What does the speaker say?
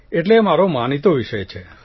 એટલે એ મારો માનીતો વિષય છે